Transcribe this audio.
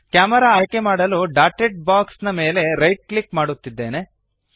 camera ಆಯ್ಕೆಮಾಡಲು dotted box ಮೇಲೆ right click ಮಾಡುತ್ತಿದ್ದೇನೆ